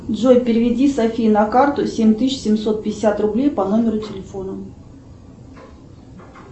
джой переведи софии на карту семь тысяч семьсот пятьдесят рублей по номеру телефона